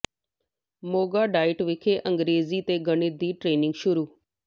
Moga DIET ਵਿਖੇ ਅੰਗਰੇਜ਼ੀ ਤੇ ਗਣਿਤ ਦੀ ਟ੍ਰੇਨਿੰਗ ਸ਼ੁਰੂ